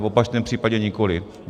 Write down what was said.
V opačném případě nikoli.